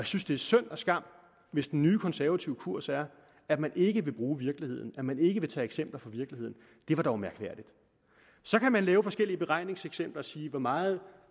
synes det er synd og skam hvis den nye konservative kurs er at man ikke vil bruge virkeligheden at man ikke vil tage eksempler fra virkeligheden det var dog mærkværdigt så kan man lave forskellige beregningseksempler og sige hvor meget